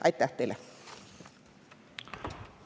Aitäh teile!